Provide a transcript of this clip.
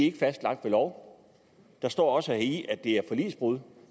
er fastlagt ved lov og der står også heri at det er forligsbrud